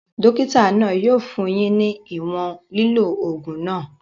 Dókítà náà yóò fún yín ní ìwòn lílò ògùn náà